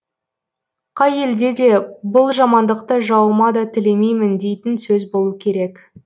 қай елде де бұл жамандықты жауыма да тілемеймін дейтін сөз болу керек